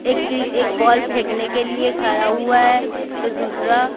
एक एक बॉल फेंकने के लिए खड़ा हुआ है तो दूसरा--